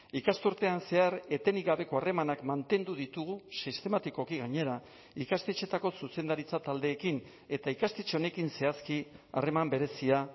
ikasturtean zehar etenik gabeko harremanak mantendu ditugu sistematikoki gainera ikastetxeetako zuzendaritza taldeekin eta ikastetxe honekin zehazki harreman berezia